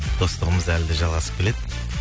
достығымыз әлі де жалғасып келеді